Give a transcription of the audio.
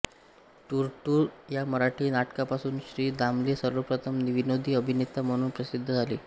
टूरटूर या मराठी नाटकापासून श्री दामले सर्वप्रथम विनोदी अभिनेता म्हणून प्रसिद्ध झाले